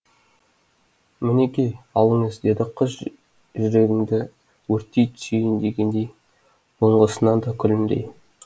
мінекей алыңыз деді қыз жүрегіңді өртей түсейін дегендей бұрынғысынан да күлімдей